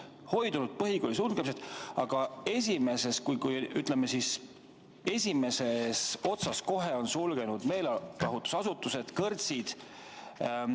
Hoidunud põhikoolide sulgemisest, aga esimeses, ütleme siis, osas on sulgenud meelelahutusasutused, kõrtsid.